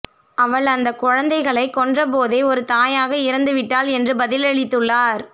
அவள் அந்த கொழந்தைகளை கொன்றபோதே ஒரு தாயக இறந்து விட்டால் என்று பதிலளித்துள்ளார்